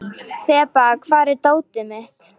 Þeba, hvar er dótið mitt?